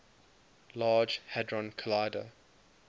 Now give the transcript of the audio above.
large hadron collider